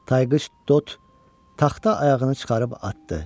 Tayqış Dot taxta ayağını çıxarıb atdı.